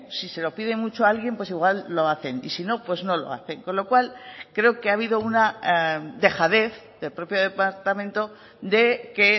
si se lo pide mucho alguien pues igual lo hacen y si no pues no lo hacen con lo cual creo que ha habido una dejadez del propio departamento de que